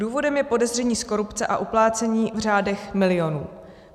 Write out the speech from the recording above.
Důvodem je podezření z korupce a uplácení v řádech milionů.